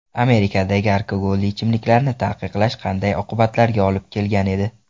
Amerikadagi alkogolli ichimliklarni taqiqlash qanday oqibatlarga olib kelgan edi?.